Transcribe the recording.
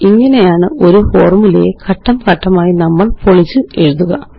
ഇങ്ങനെയാണ് ഒരു ഫോര്മുലയെ ഘട്ടം ഘട്ടമായി നമ്മള് പൊളിച്ചെഴുതുക